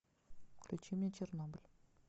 включи мне чернобыль